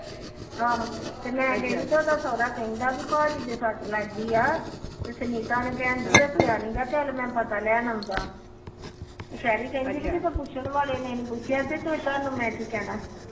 ਮੈ ਗਈ ਤੇ ਉਹਦਾ ਸੋਹਰਾ ਕਹਿੰਦਾ ਭਾਜੀ ਦੇ ਸੱਟ ਲੱਗ ਗੀ ਆ ਸੁਨੀਤਾ ਨੇ ਇਝ ਦੱਸਿਆ ਨੀ ਚੱਲ ਮੈ ਪਤਾ ਲੈਣ ਆਂਦਾ ਪੁਛਣ ਵਾਲੇ ਨੇ ਨੀ ਪੁਛਿਆ ਮੈ ਕੀ ਦੱਸਣਆ